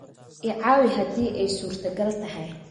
I caawi haddii ay suurtogal tahay.